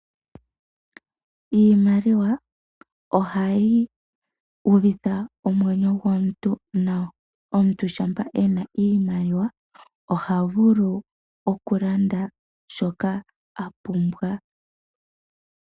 Iimaliwa ohayi uvitha omwenyo gomuntu nawa, omuntu shampa ena iimaliwa oha vulu okulanda shoka a pumbwa.